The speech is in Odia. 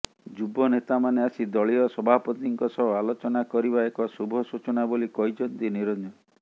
ଯୁବ ନେତାମାନେ ଆସି ଦଳୀୟ ସଭାପତିଙ୍କ ସହ ଆଲୋଚନା କରିବା ଏକ ଶୁଭ ସୂଚନା ବୋଲି କହିଛନ୍ତି ନିରଞ୍ଜନ